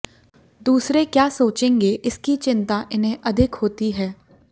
दूसरे क्या सोचेंगे इसकी चिंता इन्हें अधिक होती है